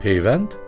Peyvənd?